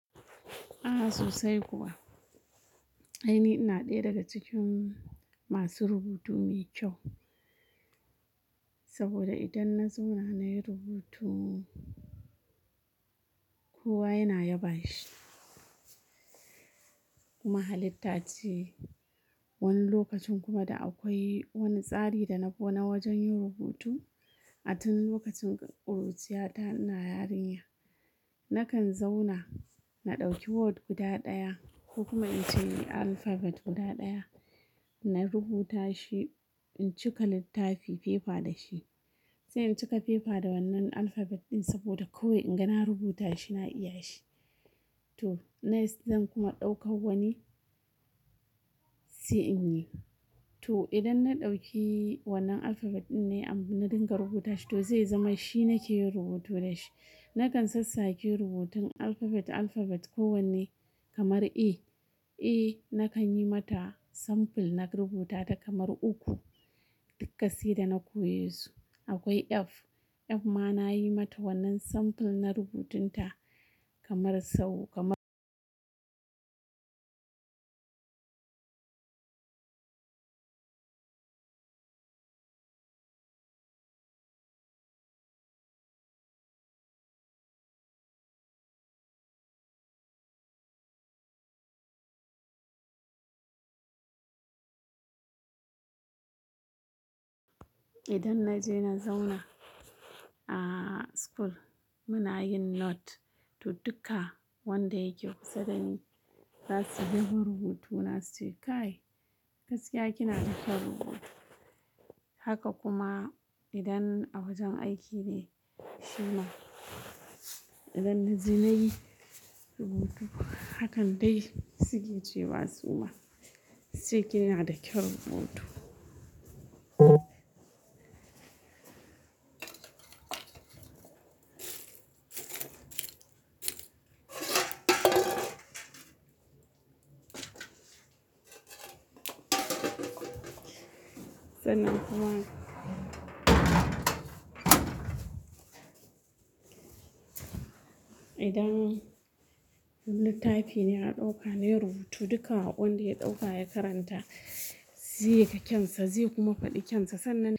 Ah sosai kuwa. Ainihi ina ɗaya daga cikin masu rubutu me kyau. Saboda idan na zauna nayi rubutu, kowa yana yaba shi. Kuma halitta ce. Wani lokacin kuma da akwai wani tsari da na bi na wajen yin rubutu. A tun lokacin ƙuruciyata ina yarinya. Nakan zauna, na ɗauki word guda ɗaya ko kuma in ce alphabet guda ɗaya. Na rubuta shi in cika littafi fefa da shi. Sai in cika fefa da wannan alphabet ɗin saboda kawai in ga na rubuta shi na iya shi. To, next zan kuma ɗauka wani, sai in yi. To idan na ɗauki wannan alphabet ɗin ne, na dinga rubuta shi, to zai zama shi nake yin rubutu da shi. Nakan sassake rubutun alphabet, alphabet kowanne kamar A. A nakan yi mata sample na rubuta ta kamar uku. Dukka sai da na koye su. Akwai F. F ma nayi mata wannan sample na rubutun ta kamar sau, kamar idan na je na zauna a school muna yin note. To duka wanda yake kusa dani za su yaba rubutu na suke "Kai gaskiya kina da kyan rubutu". Haka kuma idan a wajen aiki ne shima. Idan na je nayi rubutu, hakan dai suke cewa su ma su ce "kina da kyan rubutu". Sannan kuma idan wani littafi ne na ɗauka nayi rubutu duka wanda ya ɗauka ya karanta zai ga kyansa zai kuma faɗi kyansa. Sannan.